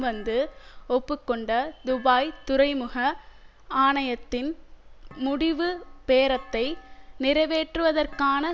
வந்து ஒப்புக்கொண்ட துபாய் துறைமுக ஆணையத்தின் முடிவு பேரத்தை நிறைவேற்றுவதற்கான